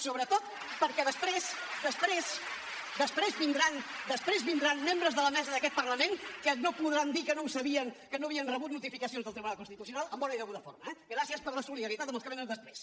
sobretot perquè després vindran membres de la mesa d’aquest parlament que no podran dir que no ho sabien que no havien rebut notificació del tribunal constitucional en bona i deguda forma eh gràcies per la solidaritat amb els que venen després